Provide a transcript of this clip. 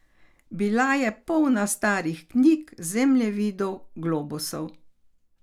Bila je polna starih knjig, zemljevidov, globusov.